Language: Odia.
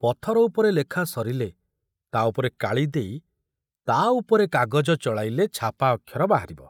ପଥର ଉପରେ ଲେଖା ସରିଲେ ତା ଉପରେ କାଳି ଦେଇ ତା ଉପରେ କାଗଜ ଚଳାଇଲେ ଛାପା ଅକ୍ଷର ବାହାରିବ।